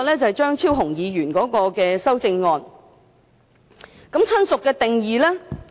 張超雄議員提出的修正案關於"親屬"的定義。